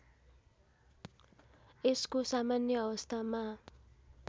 यसको सामान्य अवस्थामा